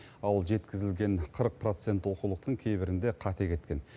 ал жеткізілген қырық процент оқулықтың кейбірінде қате кеткен